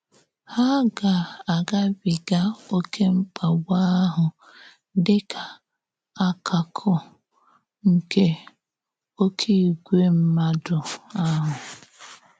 Hà gà-agábìgà ‘òké mkpàgbù ahụ’ dị ka àkàkụ̀ nke “òké ìgwè mmádụ” ahụ.